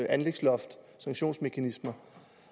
anlægsloft